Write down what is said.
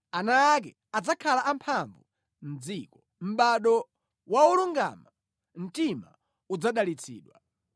Ana ake adzakhala amphamvu mʼdziko; mʼbado wa olungama mtima udzadalitsidwa.